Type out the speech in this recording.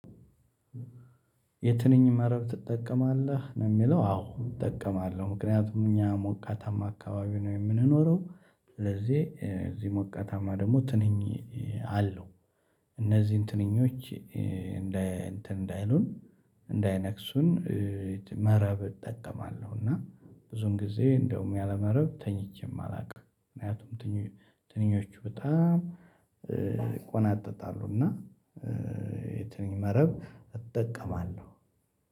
የትንኝ መረብ ትጠቀማለህ ነው የሚለው አዎ እጠቀማለሁ ምክንያቱም እኛ ሞቃታማ አካባቢ ነው የምንኖረው። ስለዚህ እዚህ ሞቃታማ ደግሞ ትንኝ አለው። እነዚህን ትንኞች እንዳይነክሱን መረብ እጠቀማለሁ። እና ብዙም ጊዜ እንደውም ያለ መረብ ተኝቼም አላውቅም። ምክንያቱም ትንኞቹ በጣም ይቆናጠጣሉ። እና የትንኝ መረብ እጠቀማለው።